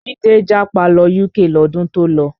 Jide japa lọ UK lọ́dún tó lọ